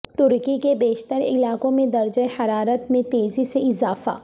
ترکی کے بیشتر علاقوں میں درجہ حرارت میں تیزی سے اضافہ